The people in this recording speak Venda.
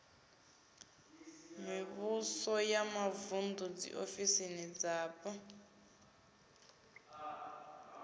mivhuso ya mavuṋdu dziofisi dzapo